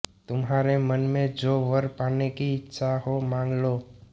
तुम्हारे मन में जो वर पाने की इच्छा हो मांग लो